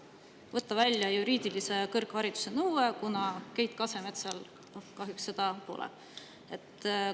võtta välja juriidilise kõrghariduse nõude, kuna Keit Kasemetsal kahjuks seda pole.